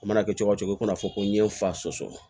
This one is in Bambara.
A mana kɛ cogo cogo i kana fɔ ko n ye fa sɔsɔ